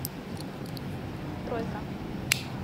стройка